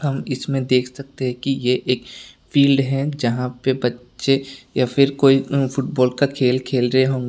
इसमें देख सकते है कि ये एक फील्ड है जहां पे बच्चे या फिर कोई फुटबॉल का खेल खेल रहे हो --